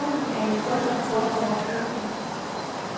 Organisationen er i bund og grund overflødig.